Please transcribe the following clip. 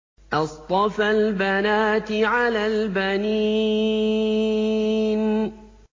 أَصْطَفَى الْبَنَاتِ عَلَى الْبَنِينَ